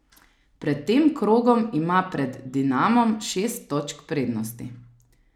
Pred tem krogom ima pred Dinamom šest točk prednosti.